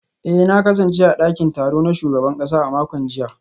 eh na kasance a dakin taro na shugaban kasa a makon jiya